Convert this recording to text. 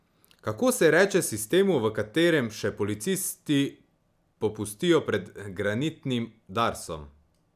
Kako se reče sistemu, v katerem še policisti popustijo pred granitnim Darsom?